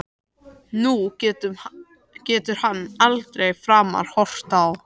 Nú getur hann aldrei framar horft á